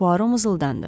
Puaro mızıldandı.